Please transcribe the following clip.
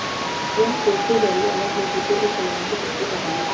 यह कोर्ट के जरिए अलग हो चुके एक परिवार की सच्ची कहानी है